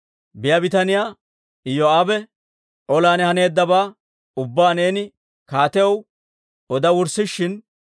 Biyaa bitaniyaa Iyoo'aabe, «Olan haneeddabaa ubbaa neeni kaatiyaw oda wurssishin,